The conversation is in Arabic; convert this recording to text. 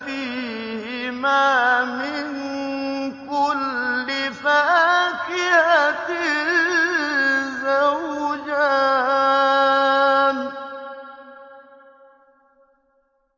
فِيهِمَا مِن كُلِّ فَاكِهَةٍ زَوْجَانِ